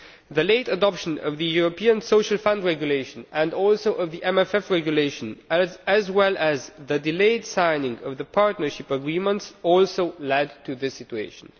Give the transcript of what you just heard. The late adoption of the European Social Fund Regulation and also of the MFF Regulation, as well as the delayed signing of the partnership agreements, also led to this situation.